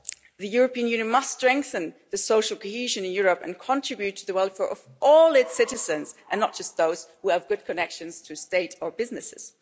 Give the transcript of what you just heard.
The European Union must strengthen the social cohesion in Europe and contribute to the welfare of all its citizens and not just those who have good connections to state or businesses.